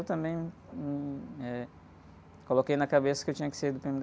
Eu também, hum, eh, coloquei na cabeça que eu tinha que ser do pê-eme-dê